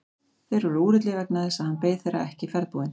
Þeir voru úrillir vegna þess að hann beið þeirra ekki ferðbúinn.